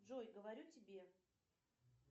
джой говорю тебе